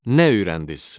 Nə öyrəndiz?